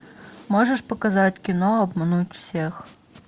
можешь показать кино обмануть всех